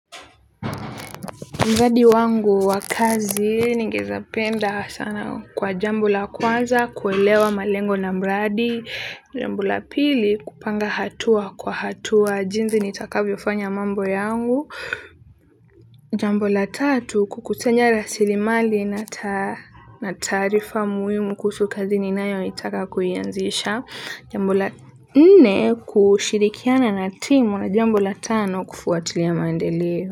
Mradi wangu wa kazi ningependa sana kwa jambo la kuwaza kuelewa malengo na mradi. Jambo la pili, kupanga hatua kwa hatua jinsi nitakavyofanya mambo yangu. Jambo la tatu, kukusanya rasilimali na taarifa muhimu kuhusu kazi ninayotaka kuianzisha. Jambo la nne, kushirikiana na timu, na jambo la tano, kufuatilia maendeleo.